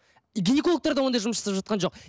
и гинекологтар да ондай жұмыс жасап жатқан жоқ